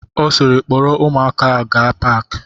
Ọ siiri, kpọrọ ụmụaka ahụ gaa paki!